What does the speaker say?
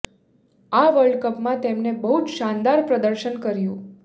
આ world cup માં તેમને બહુ જ શાનદાર પ્રદર્શન કર્યું